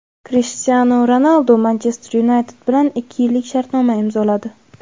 Krishtianu Ronaldu "Manchester Yunayted" bilan ikki yillik shartnoma imzoladi.